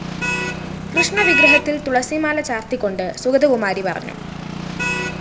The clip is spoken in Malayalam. കൃഷ്ണവിഗ്രഹത്തില്‍ തുളസിമാല ചാര്‍ത്തിക്കൊണ്ട് സുഗതകുമാരി പറഞ്ഞു